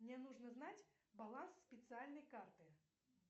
мне нужно знать баланс специальной карты